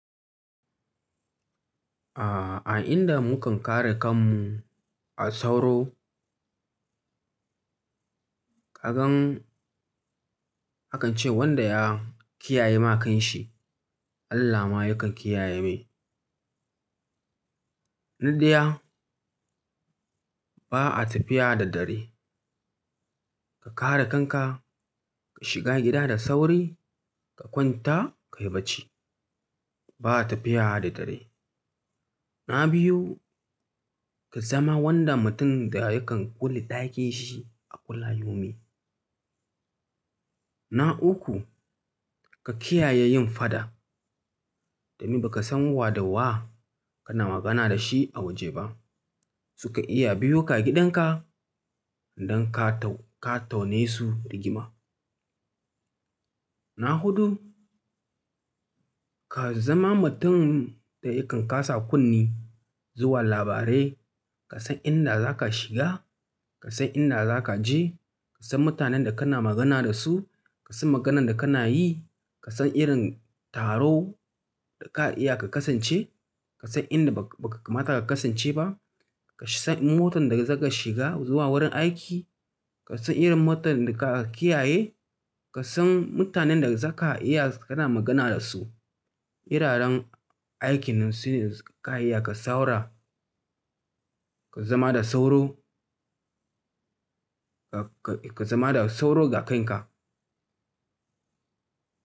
A'a, a inda mukan kare kanmu a sauro. Kagan, akan ce wanda ya kiyaye ma kan shi, Allah ma yakan kiyaye mai. Na ɗaya, ba a tafiya da dare. Ka kare kanka, ka shiga gida da sauri, ka kwanta, ka yi bacci. Ba a tafiya da dare. Na biyu, ka zama wanda mutum da yakan kula ɗakin shi a kulla yaumi. Na uku, ka kiyaye yin fada. Domin ba ka san wa da wa kana magana da shi a waje ba. Suka iya biyo ka gidan ka don ka taune su rigima. Na hudu, ka zama mutum da yakan kasa kunne zuwa labarai. Ka san inda za ka shiga, ka san inda za ka je, ka san mutanen da kana magana da su, ka san maganan da kana yi, ka san irin taro da ka iya ka kasance, ka san inda ba ka mata ka kasance ba, ka san motan da zaka shiga zuwa wurin aiki, ka san irin motar da ka kiyaye, ka san mutanen da za ka iya kana magana da su. Iraren aikin su ne ka iya ka saura, ka zama da sauro, ka zama da sauro ga kanka.